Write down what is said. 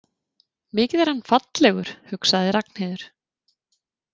Mikið er hann fallegur, hugsaði Ragnheiður.